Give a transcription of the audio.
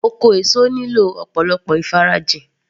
Oko èso nílò ọ̀pọ̀lọpọ̀ ìfarajìn